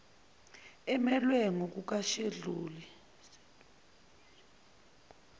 emelwe ngokuka sheduli